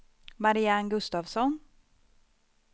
Marianne Gustavsson